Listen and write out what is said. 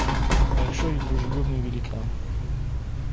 большой и дружелюбный великан